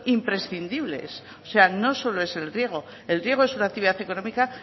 imprescindibles o sea no solo es el riego el riego es una actividad económica